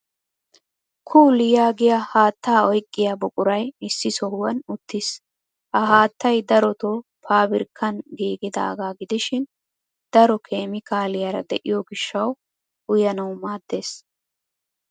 Kool yaagiya haatta oyiqqiya buquraa issi sohuwan uttis. Ha haattay darotoo faabirikkan giigidaagaa gidishin daro keemiikaaliyaara diyo gishshawu uyanawu maaddes.